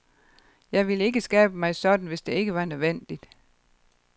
Jeg ville ikke skabe mig sådan, hvis det ikke var nødvendigt.